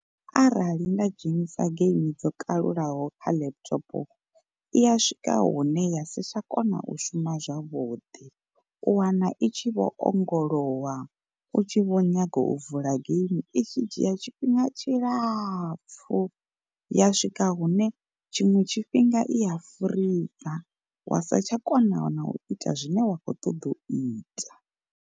Arali nda dzhenisa geimi dzo kalulaho kha laptop i ya swika hune ya si tsha kona u shuma zwavhuḓi, u wana i tshi vho ongolowa u tshi vho nyaga u vula game i tshi dzhia tshifhinga tshilapfu ya swika hune tshiṅwe tshifhinga i a furiza wa sa tsha kona na u ita zwine wa khou ṱoḓa u ita.